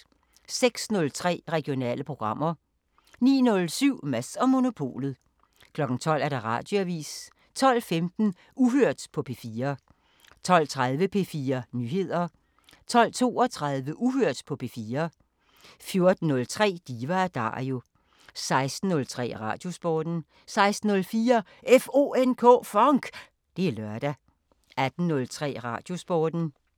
06:03: Regionale programmer 09:07: Mads & Monopolet 12:00: Radioavisen 12:15: Uhørt på P4 12:30: P4 Nyheder 12:32: Uhørt på P4 14:03: Diva & Dario 16:03: Radiosporten 16:04: FONK! Det er lørdag 18:03: Radiosporten